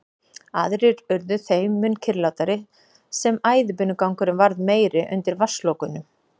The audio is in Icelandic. Aðrir urðu þeim mun kyrrlátari sem æðibunugangurinn varð meiri undir vatnslokunum.